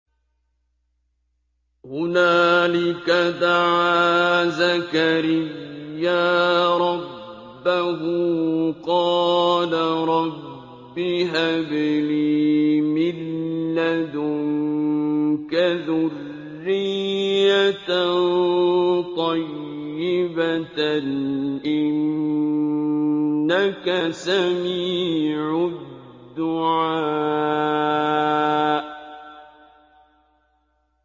هُنَالِكَ دَعَا زَكَرِيَّا رَبَّهُ ۖ قَالَ رَبِّ هَبْ لِي مِن لَّدُنكَ ذُرِّيَّةً طَيِّبَةً ۖ إِنَّكَ سَمِيعُ الدُّعَاءِ